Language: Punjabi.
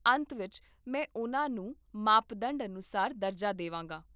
ਅੰਤ ਵਿੱਚ, ਮੈਂ ਉਹਨਾਂ ਨੂੰ ਮਾਪਦੰਡ ਅਨੁਸਾਰ ਦਰਜਾ ਦੇਵਾਂਗਾ